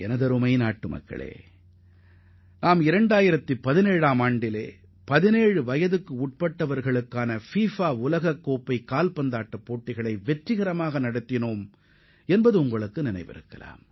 எனதருமை நாட்டு மக்களே 2017 ஆம் ஆண்டில் 17 வயதிற்குட்பட்டோருக்கான ஃபிஃபா உலகக் கோப்பை போட்டியை நாம் வெற்றிகரமாக நடத்தி முடித்தை நீங்கள் அறிவீர்கள்